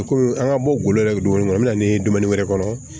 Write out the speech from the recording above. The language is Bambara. Kɔmi an ka bɔ golo yɛrɛ bɛ dumuni kɔnɔ an bɛ na ni dumuni wɛrɛ kɔnɔ